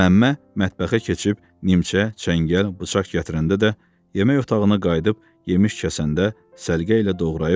Məmmə mətbəxə keçib nimçə, çəngəl, bıçaq gətirəndə də, yemək otağına qayıdıb yemiş kəsəndə səliqə ilə doğrayıb.